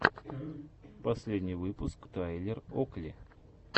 последний выпуск тайлер окли